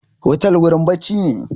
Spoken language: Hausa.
Otel wurin bacci ne